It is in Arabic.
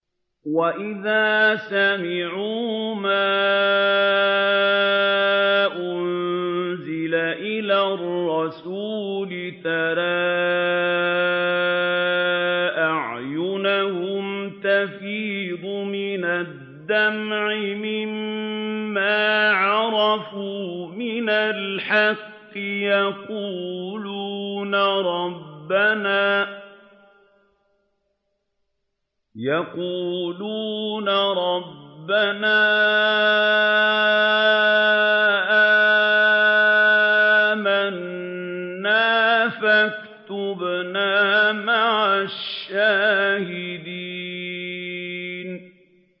وَإِذَا سَمِعُوا مَا أُنزِلَ إِلَى الرَّسُولِ تَرَىٰ أَعْيُنَهُمْ تَفِيضُ مِنَ الدَّمْعِ مِمَّا عَرَفُوا مِنَ الْحَقِّ ۖ يَقُولُونَ رَبَّنَا آمَنَّا فَاكْتُبْنَا مَعَ الشَّاهِدِينَ